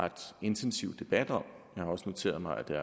ret intensiv debat om jeg har også noteret mig at der